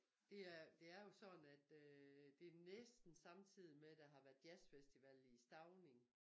Det er det er jo sådan at øh det næsten samtidig med at der har været jazzfestival i Stauning